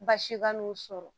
Baasi ka n'u sɔrɔ